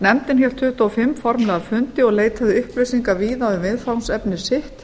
nefndin hélt tuttugu og fimm formlega fundi og leitaði upplýsinga víða um viðfangsefni sitt